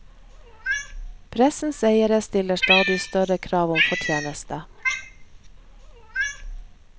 Pressens eiere stiller stadig større krav om fortjeneste.